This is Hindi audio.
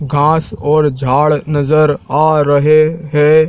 घास और झाड़ नजर आ रहे हैं।